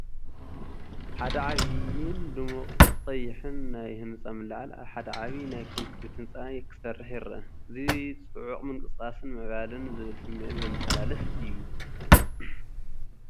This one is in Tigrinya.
ሓደ ዓቢን ድሙቕ ቀይሕን ናይ ህንጻ ምልዓል ኣብ ሓደ ዓቢ ናይ ኮንክሪት ህንጻ ክሰርሕ ይረአ። እዚ ጽዑቕ ምንቅስቓስን ምዕባለን ዝብል ስምዒት ዘመሓላልፍ እዩ።